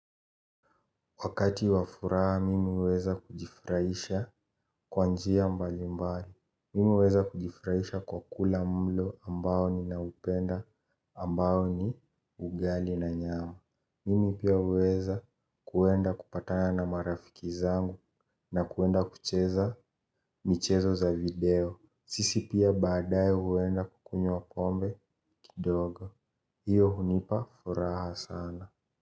Wakati wa furaha mimi huweza kujifurahisha kwa njia mbalimbali. Mimi huweza kujifurahisha kwa kula mlo ambao ninaupenda ambao ni ugali na nyama. Mimi pia huweza kuenda kupatana na marafiki zangu na kuenda kucheza michezo za video. Sisi pia baadaye huenda kukunywa kombe kidogo. Hiyo hunipa furaha sana.